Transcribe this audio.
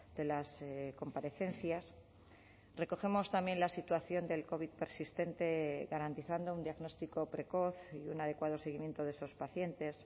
de las comparecencias recogemos también la situación del covid persistente garantizando un diagnóstico precoz y un adecuado seguimiento de esos pacientes